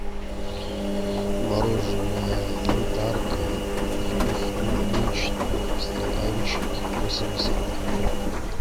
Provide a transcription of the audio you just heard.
мороженое янтарка вкус клубничный в стаканчике восемьдесят грамм